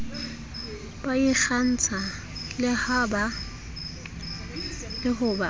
ba ikgantsha le ho ba